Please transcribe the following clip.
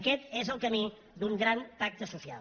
aquest és el camí d’un gran pacte social